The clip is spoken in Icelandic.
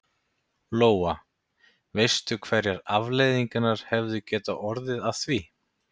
Lóa: Veistu hverjar afleiðingarnar hefðu getað orðið að því?